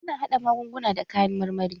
Ana haɗa magunguna da kayan marmari.